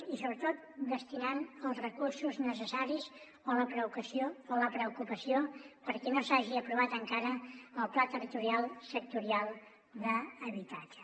i sobretot destinant els recursos necessaris o la preocupació perquè no s’hagi aprovat encara el pla territorial sectorial d’habitatge